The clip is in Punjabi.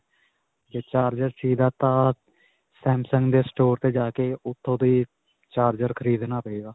ਜੇ charger samsung ਦੇ store 'ਤੇ ਜਾਕੇ ਉੱਥੋਂ ਦੀ charger ਖਰੀਦਣਾ ਪਏਗਾ.